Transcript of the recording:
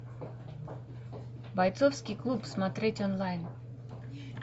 бойцовский клуб смотреть онлайн